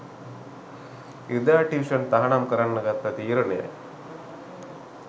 ඉරිදා ටියුෂන් තහනම් කරන්න ගත්ත තීරණයයි.